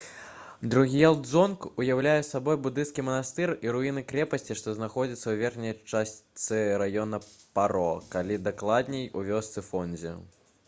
друг'ел дзонг уяўляе сабой будысцкі манастыр і руіны крэпасці што знаходзяцца ў верхняй частцы раёна паро калі дакладней у вёсцы фондзі